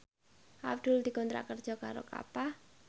Abdul dikontrak kerja karo Kappa